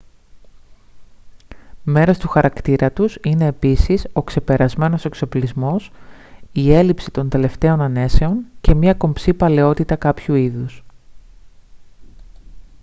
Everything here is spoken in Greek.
μέρος του χαρακτήρα τους είναι επίσης ο ξεπερασμένος εξοπλισμός η έλλειψη των τελευταίων ανέσεων και μια κομψή παλαιότητα κάποιου είδους